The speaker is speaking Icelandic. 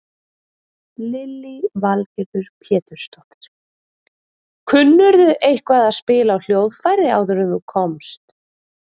Lillý Valgerður Pétursdóttir: Kunnirðu eitthvað að spila á hljóðfæri áður en þú komst?